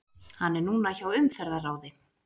Hann er núna hjá Umferðarráði.